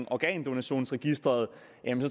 organdonationsregisteret